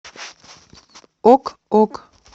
ок ок